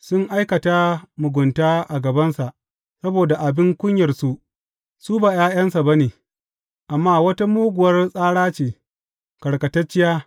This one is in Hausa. Sun aikata mugunta a gabansa; saboda abin kunyarsu, su ba ’ya’yansa ba ne, amma wata muguwar tsara ce, karkatacciya.